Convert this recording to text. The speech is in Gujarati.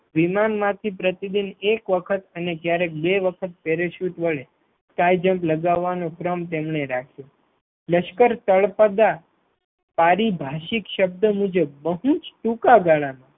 વિમાનમાંથી પ્રતિદિન દરરોજ એક વખત અને ક્યારેક બે વખત પહેરીશુટ વડે Sky jump લગાવવાનો ક્રમ તેમને રાખ્યો લશ્કર તળપદા પારિભાષિક શબ્દ મુજબ બહુ જ ટૂંકા ગાળામાં